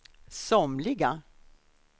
somliga